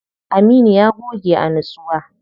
Aminu ya goge a nitsuwa.